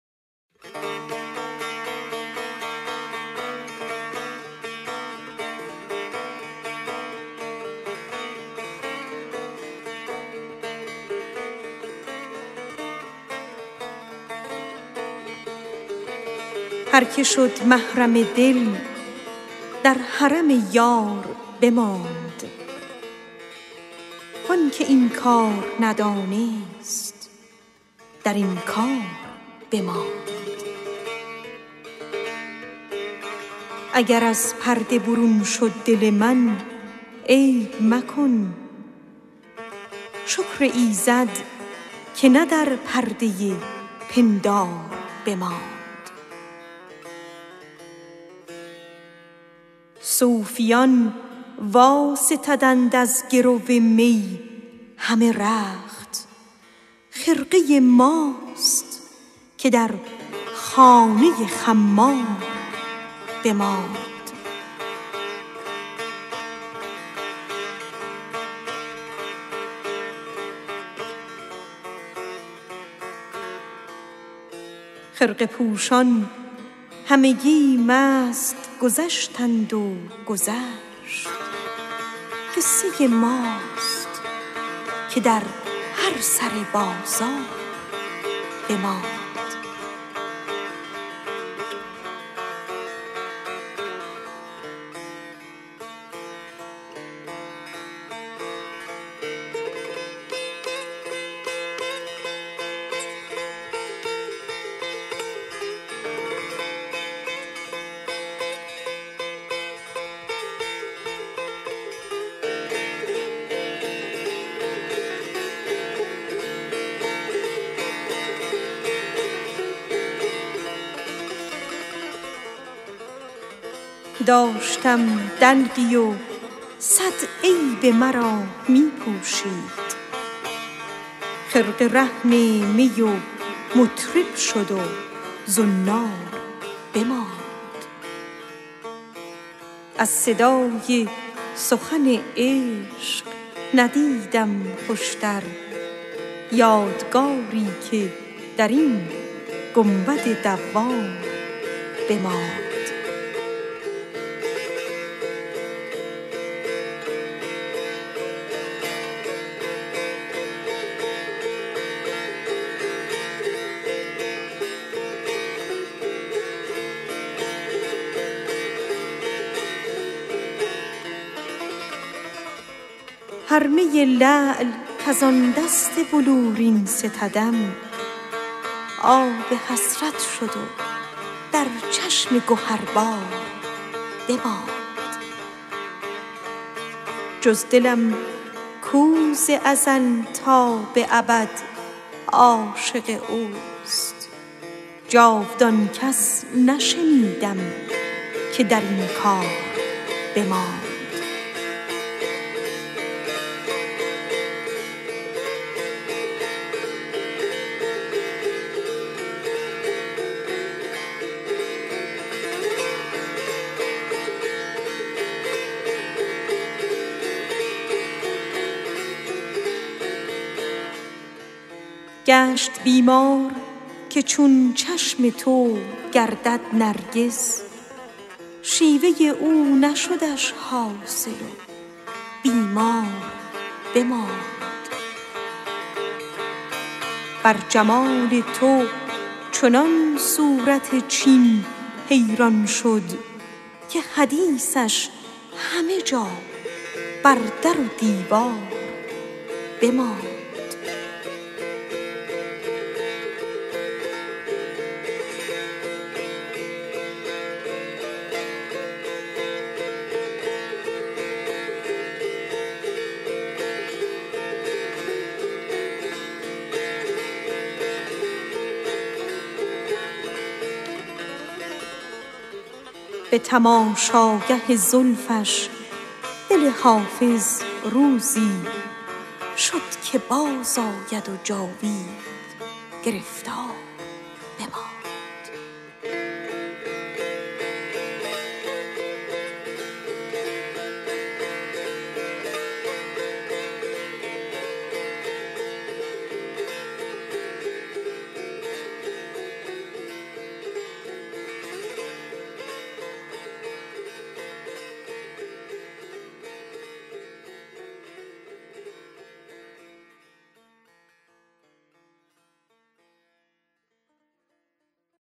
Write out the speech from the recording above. هر که شد محرم دل در حرم یار بماند وان که این کار ندانست در انکار بماند اگر از پرده برون شد دل من عیب مکن شکر ایزد که نه در پرده پندار بماند صوفیان واستدند از گرو می همه رخت دلق ما بود که در خانه خمار بماند محتسب شیخ شد و فسق خود از یاد ببرد قصه ماست که در هر سر بازار بماند هر می لعل کز آن دست بلورین ستدیم آب حسرت شد و در چشم گهربار بماند جز دل من کز ازل تا به ابد عاشق رفت جاودان کس نشنیدیم که در کار بماند گشت بیمار که چون چشم تو گردد نرگس شیوه تو نشدش حاصل و بیمار بماند از صدای سخن عشق ندیدم خوشتر یادگاری که در این گنبد دوار بماند داشتم دلقی و صد عیب مرا می پوشید خرقه رهن می و مطرب شد و زنار بماند بر جمال تو چنان صورت چین حیران شد که حدیثش همه جا در در و دیوار بماند به تماشاگه زلفش دل حافظ روزی شد که بازآید و جاوید گرفتار بماند